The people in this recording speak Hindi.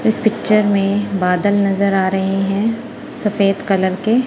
इस पिक्चर में बादल नजर आ रहे हैं सफेद कलर के।